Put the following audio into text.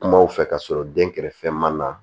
Kumaw fɛ ka sɔrɔ den kɛrɛfɛ ma na